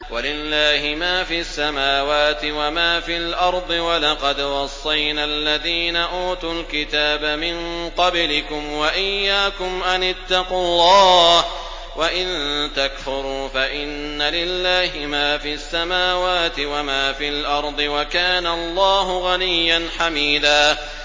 وَلِلَّهِ مَا فِي السَّمَاوَاتِ وَمَا فِي الْأَرْضِ ۗ وَلَقَدْ وَصَّيْنَا الَّذِينَ أُوتُوا الْكِتَابَ مِن قَبْلِكُمْ وَإِيَّاكُمْ أَنِ اتَّقُوا اللَّهَ ۚ وَإِن تَكْفُرُوا فَإِنَّ لِلَّهِ مَا فِي السَّمَاوَاتِ وَمَا فِي الْأَرْضِ ۚ وَكَانَ اللَّهُ غَنِيًّا حَمِيدًا